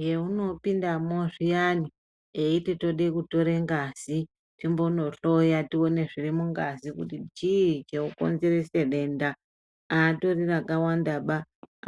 Heunopindamo zviyani eyiti tode kutore ngazi timbonohloya tione zviri mungazi kuti chii chinokonzerese denda, haatori rakawandaba.